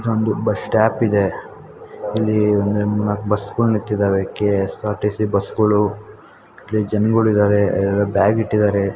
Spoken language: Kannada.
ಇದೊಂದು ಬಸ್ ಸ್ಟಾಪ್ ಇದೆ ಇಲ್ಲಿ ಒನ್ ನಾಕ್ ಬಸ್ ಗಳು ನಿಂತಿವೆ ಕೆ.ಎಸ್.ಆರ್.ಟಿ.ಸಿ ಬಸ್ಸು ಗಳು ಜನಗಳಿದರೆ ಬ್ಯಾಗಿ ಟ್ಟಿದರೆ.